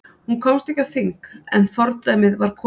Hún komst ekki á þing en fordæmið var komið.